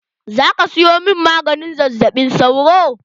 Za ka siyo min maganin zazzaɓin sauro?